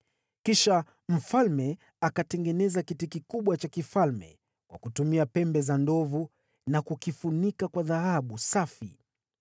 Kisha mfalme akatengeneza kiti kikubwa cha kifalme kwa kutumia pembe za ndovu na kukifunika kwa dhahabu safi.